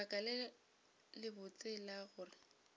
lebaka le lebotse la gore